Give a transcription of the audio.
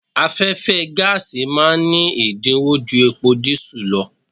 Afẹ́fẹ́ gáàsì ma ní ẹ̀dínwó ju epo dísù lọ.